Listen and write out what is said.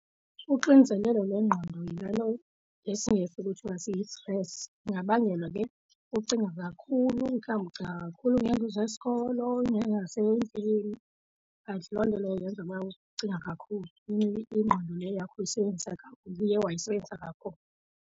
Ixinzelelo lengqondo yilaa nto ngesiNgesi kuthiwa si-stress, singabangelwa ke ucinga kakhulu mhlawumbi ucinga kakhulu ngeento zesikolo okanye nezasendlini kanti loo nto leyo yenza uba ucinga kakhulu ingqondo le yakho uyisebenzisa kakhulu uye wayisebenzisa kakhulu.